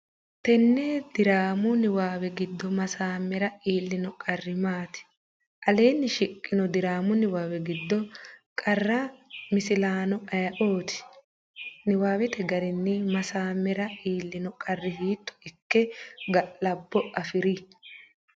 Tenne diraamu niwaawe giddo Maassamera iillino qarri maati? Aleenni shiqqino diraamu niwaawe giddo qara misilaano ayeooti? Niwaawete garinni Maassamera iillino qarri hiitto ikke galabbo afi’ri?